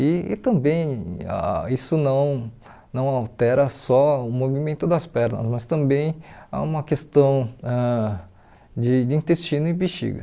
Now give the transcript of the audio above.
E e também ah isso não não altera só o movimento das pernas, mas também há uma questão ãh de de intestino e bexiga.